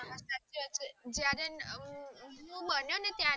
હા હા સાચી વાત છે જયારે હું બન્યો ને ત્યારે